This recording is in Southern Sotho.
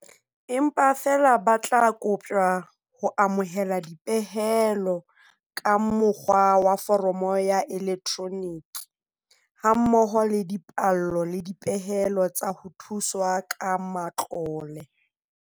Empa feela ba tla koptjwa ho amohela dipehelo ka mo kgwa wa foromo ya elektroniki, ha mmoho le dipallo le dipehelo tsa ho thuswa ka matlole.